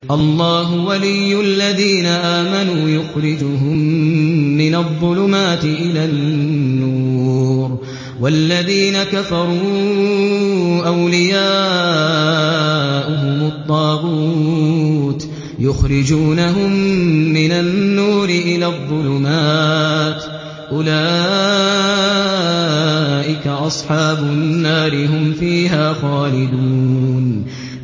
اللَّهُ وَلِيُّ الَّذِينَ آمَنُوا يُخْرِجُهُم مِّنَ الظُّلُمَاتِ إِلَى النُّورِ ۖ وَالَّذِينَ كَفَرُوا أَوْلِيَاؤُهُمُ الطَّاغُوتُ يُخْرِجُونَهُم مِّنَ النُّورِ إِلَى الظُّلُمَاتِ ۗ أُولَٰئِكَ أَصْحَابُ النَّارِ ۖ هُمْ فِيهَا خَالِدُونَ